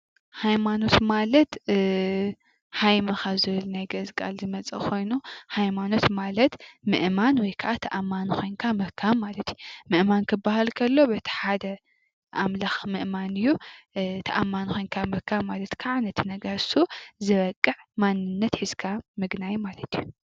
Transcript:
ሃይማኖት ማለት ሃይመ ካብ ዝብል ናይ ግእዝ ቃል ዝመፀ ኾይኑ ሃይማኖት ማለት ምእማን ወይ ከኣ ተኣማኒ ኮይንካ ምርካብ ማለት እዩ፡፡ ምእማን ከሎ በቲ ሓደ ኣምላኽ ምእማን እዩ ተኣማኒ ኾይንካ ምርካብ ከዓ ነቲ ነገር እሱ ዘብቅዕ ማንነት ሒዝካ ምግናይ ማለት እዩ፡፡